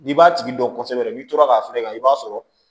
N'i b'a tigi dɔn kosɛbɛ n'i tora k'a feere ka i b'a sɔrɔ